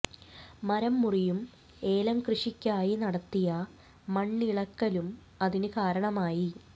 മരം മുറിയും ഏലം കൃഷിക്കായി നടത്തിയ മണ്ണിളക്കലും അതിന് കാരണമായി